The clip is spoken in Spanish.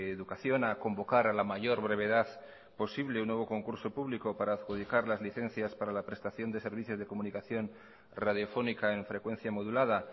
educación a convocar a la mayor brevedad posible un nuevo concurso público para adjudicar las licencias para la prestación de servicios de comunicación radiofónica en frecuencia modulada